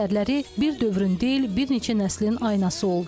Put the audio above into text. Əsərləri bir dövrün deyil, bir neçə nəslin aynası oldu.